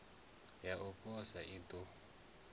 ya u posa i ḓo